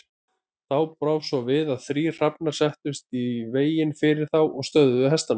Þá brá svo við að þrír hrafnar settust í veginn fyrir þá og stöðvuðu hestana.